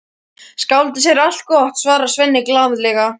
Skáldið segir allt gott, svarar Svenni glaðlega.